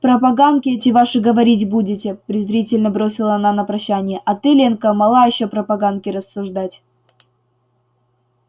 про поганки эти ваши говорить будете презрительно бросила она на прощание а ты ленка мала ещё про поганки рассуждать